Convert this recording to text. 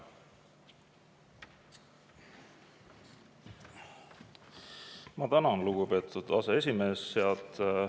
Ma tänan, lugupeetud aseesimees!